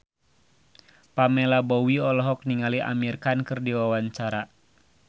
Pamela Bowie olohok ningali Amir Khan keur diwawancara